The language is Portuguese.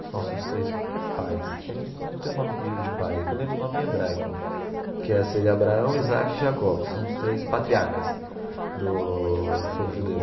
Dos nossos três, não é pais, não tem o nome de de pai, é que eu lembro o nome em hebraico, que é seria Abraão, Isaac e Jacó, que são os três patriarcas do do povo judeu.